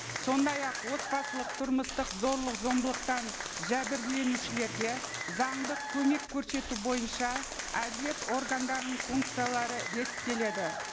сондай ақ отбасылық тұрмыстық зорлық зомбылықтан жәбірленушілерге заңдық көмек көрсету бойынша әділет органдарының функциялары реттеледі